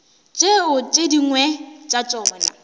tšeo tše dingwe tša tšona